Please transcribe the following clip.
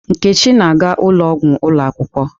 Nkechi na-aga ụlọ ọgwụ ụlọ akwụkwọ.